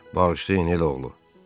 Bağışlayın, elə oğlu.